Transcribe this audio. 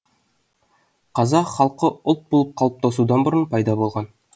қазақ халқы ұлт болып қалыптасудан бұрын пайда болған